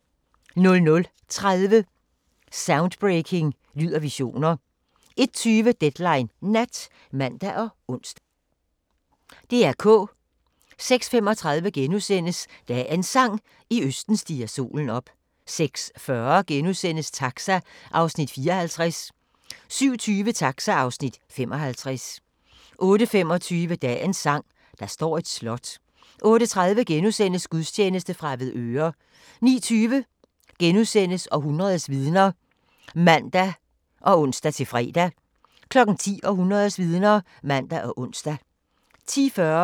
00:30: Soundbreaking – Lyd og visioner 01:20: Deadline Nat (man og ons)